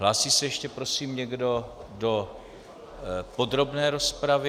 Hlásí se ještě prosím někdo do podrobné rozpravy?